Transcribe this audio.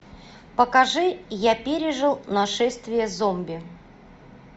покажи я пережил нашествие зомби